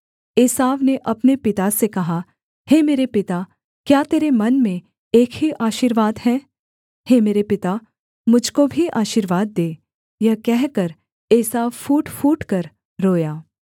एसाव ने अपने पिता से कहा हे मेरे पिता क्या तेरे मन में एक ही आशीर्वाद है हे मेरे पिता मुझ को भी आशीर्वाद दे यह कहकर एसाव फूट फूटकर रोया